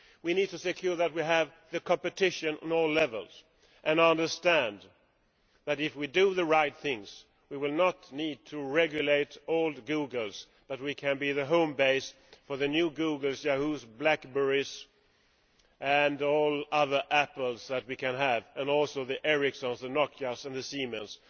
We need to ensure that we have competition at all levels and understand that if we do the right things, we will not need to regulate all the Googles but can be the home base for the new Googles, Yahoos, BlackBerries and all the other Apples that we can have, and also the Ericssons, the Nokias and the Siemens.